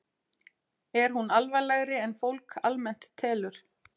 Er hún alvarlegri en fólk almennt telur?